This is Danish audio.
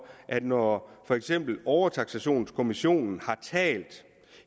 at når for eksempel overtaksationskommissionen har talt